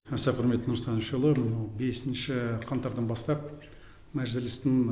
аса құрметті нұрсұлтан әбішұлы мынау бесінші қаңтардан бастап мәжілістің